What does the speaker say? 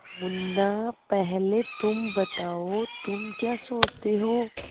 मुन्ना पहले तुम बताओ तुम क्या सोचते हो